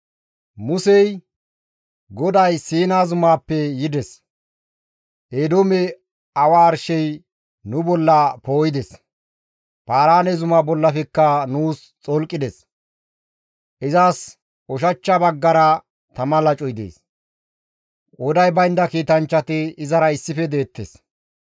Musey, «GODAY Siina zumaappe yides; Eedoomeppe awa arshey nu bolla poo7ides; Paaraane zuma bollafekka nuus xolqides; izas ushachcha baggara tama lacoy dees; qooday baynda kiitanchchati izara issife deettes.